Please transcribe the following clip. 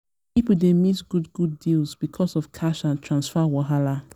pipo dey miss good good deals because of cash and transfer wahala.